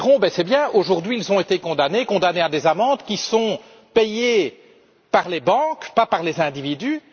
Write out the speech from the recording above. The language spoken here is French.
Certains diront C'est bien, aujourd'hui, ils ont été condamnés à des amendes qui sont payées par les banques, pas par les individus.